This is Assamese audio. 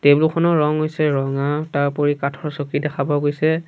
টেবুল খনৰ ৰং হৈছে ৰঙা তাৰওপৰি কাঠৰ চকী দেখা পোৱা গৈছে।